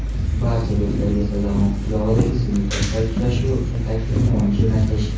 Barcha do‘stlarga Sazag‘on qishlog‘idagi sinfdoshlar uchrashuvi uchun taklifnoma jo‘natish.